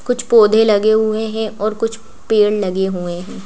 कुछ पौधे लगे हुए हैं और कुछ पेड़ लगे हुए हैं।